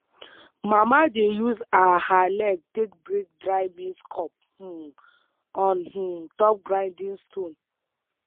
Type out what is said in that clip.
mama dey use her her leg take break dry maize cob um on um top grinding stone